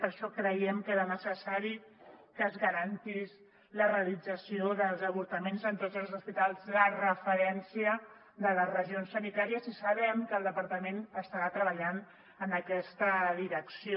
per això creiem que era necessari que es garantís la realit·zació dels avortaments en tots els hospitals de referència de les regions sanitàries i sabem que el departament estarà treballant en aquesta direcció